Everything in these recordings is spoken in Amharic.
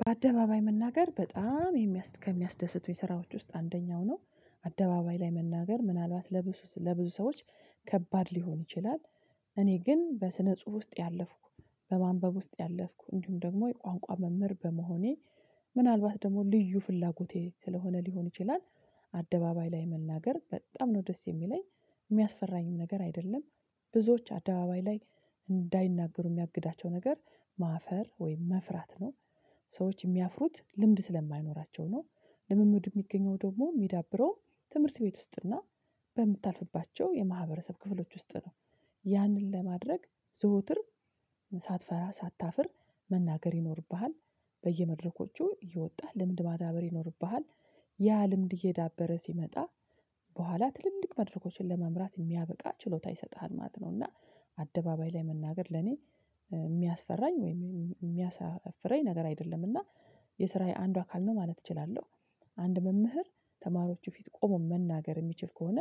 በአደባባይ መናገር በጣም የሚያ ከሚያስደስቱኝ ስራዎች ውስጥ አንደኛው ነው አደባባይ ላይ መናገር ምናልባት ለብዙ ለብዙ ሰዎች ከባድ ሊሆን ይችላል። እኔ ግን በስነ ጽሁፍ ውስጥ ያለፍኩ በማንበብ ውስጥ ያለፍኩ እንዲሁም ደግሞ የቋንቋ መምህር በመሆኔ ምናልባት ደግሞ ልዩ ፍላጎቴ ስለሆነ ሊሆን ይችላል። አደባባይ ላይ መናገር በጣም ነው ደስ የሚለኝ የሚያስፈራኝም ነገር አይደለም። ብዙዎች አደባባይ ላይ እንዳይናገሩ የሚያግዳቸው ነገር ማፈር ወይም መፍራት ነው። ሰዎች የሚያፍሩት ልምድ ስለማይኖራቸው ነው። ልምምድ የሚገኘው ደግሞ የሚዳብረው ትምህርት ቤት ውስጥና በምታልፍባቸው የማህበረሰብ ክፍሎች ውስጥ ነው። ያንን ለማድረግ ዘወትር ሳትፈራ ሳታፍር መናገር ይኖርብሃል። በየመድረኮቹ እየወጣህ ልምድ ማዳበር ይኖርብሃል። ያ ልምድ እየዳበረ ሲመጣ በኋላ ትልልቅ መድረኮችን ለመምራት የሚያበቃ ችሎታ ይሰጥሃል ማለት እና። አደባባይ ላይ መናገር ለኔ የሚያስፈራኝ ወይም የሚያሳፍረኝ ነገር አይደለም እና የስራዬ አንዱ አካል ነው ማለት እችላለሁ። አንድ መምህር ተማሪዎቹ ፊት ቆሞ መናገር የሚችል ከሆነ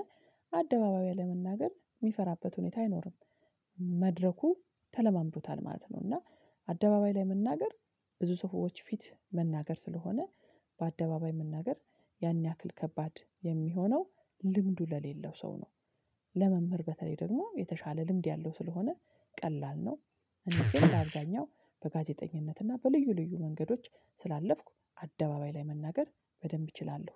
አደባባይ ለመናገር የሚፈራበት ሁኔታ አይኖርም። መድረኩ ተለማምዶታል ማለት ነው። እና አደባባይ ላይ መናገር ብዙ ሰዎች ፊት መናገር ስለሆነ በአደባባይ መናገር ያን ያክል ከባድ የሚሆነው ልምዱ ለሌለው ሰው ነው። ለመምህር በተለይ ደግሞ የተሻለ ልምድ ያለው ስለሆነ ቀላል ነው። እኔ ግን በአብዝኛው በጋዜጠኝነት እና በልዩ ልዩ መንገዶች ስላለፍኩ አደባባይ ላይ መናገር በደንብ እችላለሁ።